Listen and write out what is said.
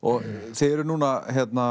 þið eruð núna